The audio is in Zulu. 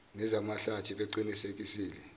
neza mahlathi beqinisekisile